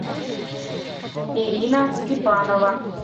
ирина степанова